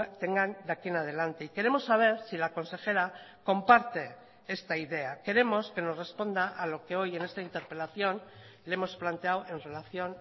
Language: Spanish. tengan de aquí en adelante y queremos saber si la consejera comparte esta idea queremos que nos responda a lo que hoy en esta interpelación le hemos planteado en relación